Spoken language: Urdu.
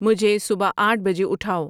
مجھے صبح آٹھ بجے اٹھاءو